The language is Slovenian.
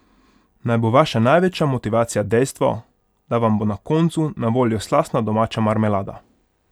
Naj bo vaša največja motivacija dejstvo, da vam bo na koncu na voljo slastna domača marmelada!